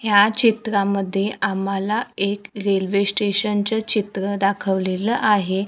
ह्या चित्रामध्ये आम्हाला एक रेल्वे स्टेशनच चित्र दाखवलेलं आहे.